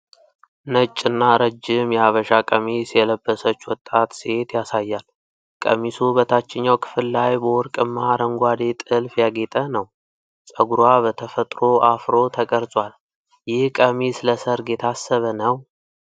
ነጭና ረጅም የሐበሻ ቀሚስ የለበሰች ወጣት ሴት ያሳያል። ቀሚሱ በታችኛው ክፍል ላይ በወርቅማ አረንጓዴ ጥልፍ ያጌጠ ነው። ፀጉሯ በተፈጥሮ አፍሮ ተቀርጿል። ይህ ቀሚስ ለሠርግ የታሰበ ነው?